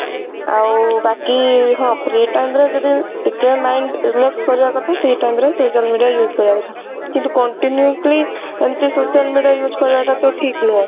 ଆଉ ବାକି ହଁ free time ରେ ଯଦି ଟିକେ mind relax କରିବା କଥା ସେଇ time ରେ social media use କରିବା କଥା କିନ୍ତୁ continuously ଏମିତି social media ଟା use କରିବା ଟା ତ ଠିକ ନୁହଁ।